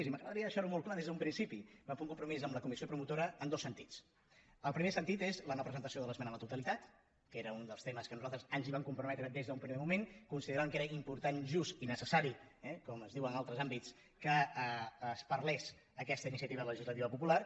i m’agradaria deixar·ho molt clar des d’un principi vam fer un compromís amb la comissió promotora en dos sentits el primer sentit és la no·presentació de l’esmena a la totalitat que era un dels temes a què nosaltres ens vam com·prometre des d’un primer moment consideràvem que era important i just i necessari eh com es diu en altres àmbits que es parlés aquesta iniciativa legis·lativa popular